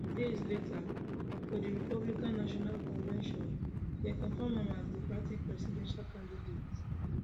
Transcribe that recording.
days later for di republican national convention dem confam am as di party presidential candidate